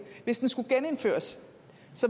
hvis den skulle genindføres